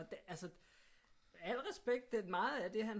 Og det altså al respekt meget af det han